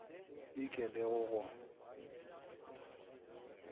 e ke le go go